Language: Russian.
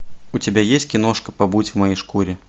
у тебя есть киношка побудь в моей шкуре